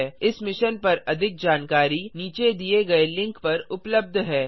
यह स्क्रिप्ट प्रभाकर द्वारा अनुवादित हैआईआईटी मुंबई की ओर से मैं यश वोरा अब आपसे विदा लेता हूँ